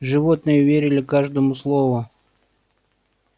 животные верили каждому слову